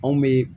Anw bɛ